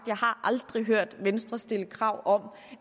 jeg aldrig hørt venstre stille krav om